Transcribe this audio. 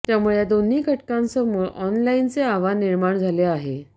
त्यामुळे या दोन्ही घटकांसमोर ऑनलाईनचे आव्हान निर्माण झाले आहे